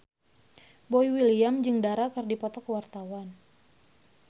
Boy William jeung Dara keur dipoto ku wartawan